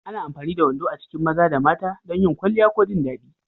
Ana amfani da wando a cikin maza da mata don yin kwalliya ko jin daɗi.